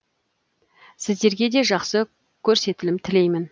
сіздерге де жақсы көрсетілім тілеймін